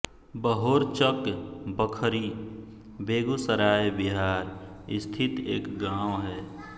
बहोरचक बखरी बेगूसराय बिहार स्थित एक गाँव है